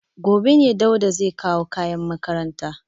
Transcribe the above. Gobe ne Dauda zai kawo kayan makaranta.